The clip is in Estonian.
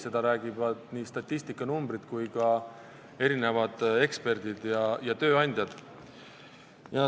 Seda räägivad nii statistikanumbrid kui ka erinevad eksperdid ja tööandjad.